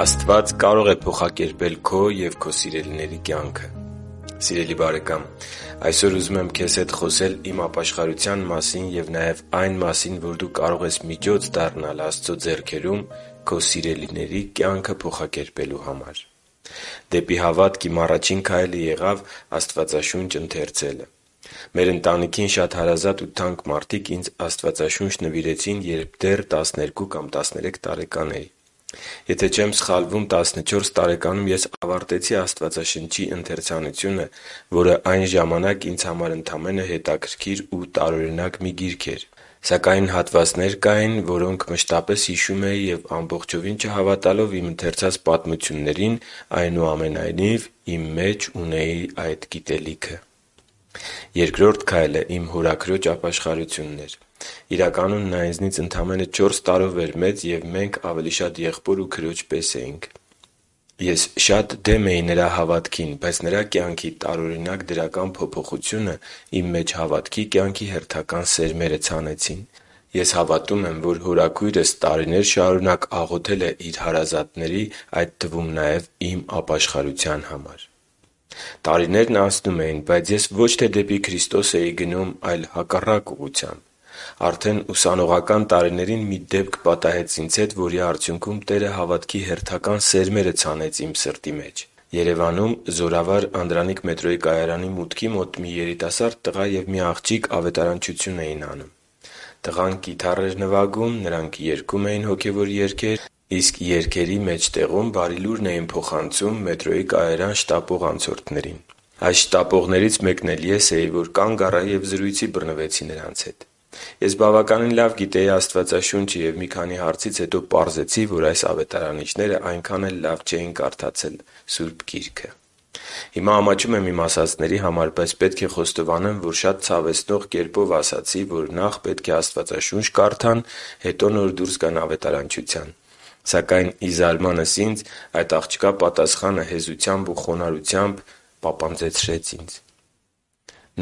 Աստված կարող է փոխակերպել քո և քո սիրելիների կյանքը Սիրելի՛ բարեկամ, այսօր ուզում եմ քեզ հետ խոսել իմ ապաշխարության մասին և նաև այն մասին, որ դու կարող ես միջոց դառնալ Աստծո ձեռքերում քո սիրելիների կյանքը փոխակերպելու համար։ Դեպի հավատք իմ առաջին քայլը եղավ Աստվածաշունչ ընթերցելը։ Մեր ընտանիքին շատ հարազատ ու թանկ մարդիկ ինձ Աստվածաշունչ նվիրեցին, երբ դեռ տասներկու կամ տասներեք տարեկան էի։ Եթե չեմ սխալվում տասնչորս տարեկանում ես ավարտեցի Աստվածաշունչի ընթերցանությունը, որը այն ժամանակ ինձ համար ընդամենը հետաքրքիր ու տարօրինակ մի գիրք էր։ Սակայն հատվածներ կային, որոնք մշտապես հիշում էի և, ամբողջովին չհավատալով իմ ընթերցած պատմություններին, այնուամենայնիվ, իմ մեջ ունեի այդ գիտելիքը։ Երկրորդ քայլը իմ հորաքրոջ ապաշխարությունն էր։ Իրականում, նա ինձնից ընդամենը չորս տարով էր մեծ, և մենք ավելի շատ եղբոր ու քրոջ պես էինք։ Ես շատ դեմ էի նրա հավատքին, բայց նրա կյանքի տարօրինակ դրական փոփոխությունը իմ մեջ հավատքի կյանքի հերթական սերմերը ցանեցին։ Ես հավատում եմ, որ հորաքույրս տարիներ շարունակ աղոթել է իր հարազատների, այդ թվում նաև իմ ապաշխարության համար։ Տարիներն անցնում էին, բայց ես ոչ թե դեպի Քրիստոսն էի գնում, այլ հակառակ ուղղությամբ։ Արդեն ուսանողական տարիներին մի դեպք պատահեց ինձ հետ, որի արդյունքում Տերը հավատքի հերթական սերմերը ցանեց իմ սրտի մեջ։ Երևանում Զորավար Անդրանիկ մետրոյի կայարանի մուտքի մոտ մի երիտասարդ տղա և մի աղջիկ ավետարանչություն էին անում։ Տղան կիթառ էր նվագում, նրանք երգում էին հոգևոր երգեր, իսկ երգերի մեջտեղում Բարի Լուրն էին փոխանցում մետրոյի կայարան շտապող անցորդներին։ Նրանցից մեկն էլ ես էի, որ զրույցի բռնվեցի նրանց հետ։ Ես բավականին լավ գիտեի Աստվածաշունչը և մի քանի հարցից հետո պարզեցի, որ այս ավետարանիչները այնքան էլ լավ չէին կարդացել Աստվածաշունչը։ Հիմա ամաչում եմ իմ ասածների համար, բայց պետք է խոստովանեմ, որ շատ ցավեցնող կերպով ասացի, որ նախ պետք է Աստվածաշունչ կարդան, հետո նոր դուրս գան ավետարանչության։ Սակայն, ի զարմանս ինձ, այդ աղջկա պատասխանը հեզությամբ ու խոնարհությամբ պապանձեցրեց ինձ։